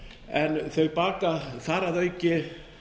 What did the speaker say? en þau baka þar að auki